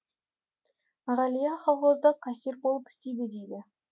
ғалия колхозда кассир болып істейді дейді